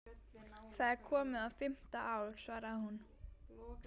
Það er komið á fimmta ár, svaraði hún.